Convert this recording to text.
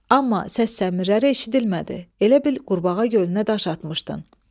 Amma səs səmiləri eşidilmədi, elə bil qurbağa gölünə daş atmışdın.